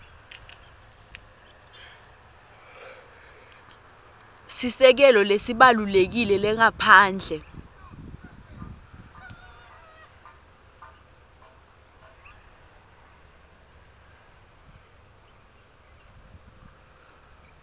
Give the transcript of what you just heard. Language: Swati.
sisekelo lesibalulekile lengaphandle